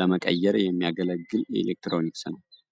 ለመቀየር የሚያገለግል የኤሌክትሮኒክስ መሳሪያ ነዉ።